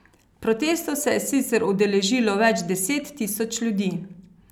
Protestov se je sicer udeležilo več deset tisoč ljudi.